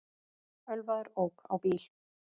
Ölvaður ók á bíl